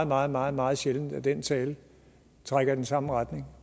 meget meget meget sjældent at den tale trækker i den samme retning